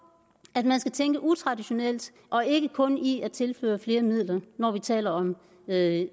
at man skal tænke utraditionelt og ikke kun i at tilføre flere midler når vi taler om at